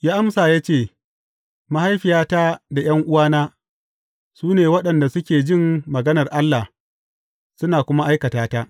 Ya amsa ya ce, Mahaifiyata da ’yan’uwana, su ne waɗanda suke jin maganar Allah, suna kuma aikata ta.